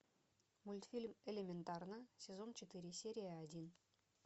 мультфильм элементарно сезон четыре серия один